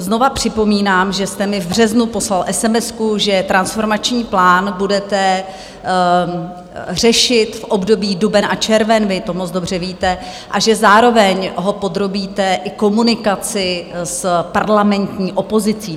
Znovu připomínám, že jste mi v březnu poslal esemesku, že transformační plán budete řešit v období duben až červen, vy to moc dobře víte, a že zároveň ho podrobíte i komunikaci s parlamentní opozicí.